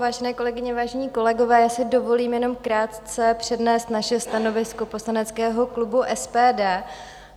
Vážené kolegyně, vážení kolegové, já si dovolím jenom krátce přednést naše stanovisko poslaneckého klubu SPD.